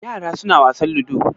Yara suna wasan ludo?